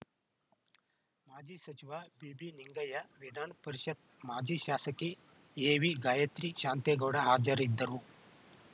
ಮಾಜಿ ಸಚಿವ ಬಿಬಿನಿಂಗಯ್ಯ ವಿಧಾನ ಪರಿಷತ್‌ ಮಾಜಿ ಶಾಸಕಿ ಎವಿಗಾಯತ್ರಿ ಶಾಂತೇಗೌಡ ಹಾಜರಿದ್ದರು